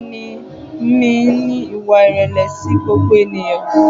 Bẹ́ẹ̀ni, mo ní ìwà ìrẹ̀lẹ̀ sí gbogbo ènìyàn.